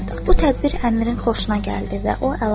Bu tədbir Əmirin xoşuna gəldi və o əlavə etdi.